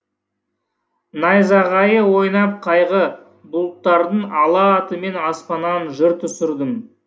найзағайы ойнап қайғы бұлттардың алла атымен аспаннан жыр түсірдім